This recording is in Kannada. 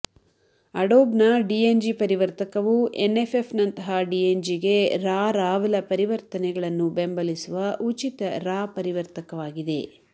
ಅಡೋಬ್ನ ಡಿಎನ್ಜಿ ಪರಿವರ್ತಕವು ಎನ್ಎಫ್ಎಫ್ ನಂತಹ ಡಿಎನ್ಜಿಗೆ ರಾ ರಾವಲ ಪರಿವರ್ತನೆಗಳನ್ನು ಬೆಂಬಲಿಸುವ ಉಚಿತ ರಾ ಪರಿವರ್ತಕವಾಗಿದೆ